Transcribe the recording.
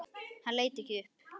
Hann leit ekki upp.